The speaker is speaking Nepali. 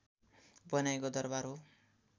बनाएको दरवार हो